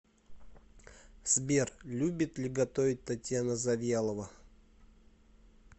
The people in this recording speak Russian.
сбер любит ли готовить татьяна завьялова